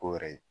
Ko wɛrɛ ye